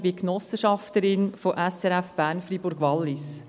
Ich bin Genossenschafterin von SRF Bern Freiburg Wallis.